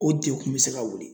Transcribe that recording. O degun bɛ se ka wuli.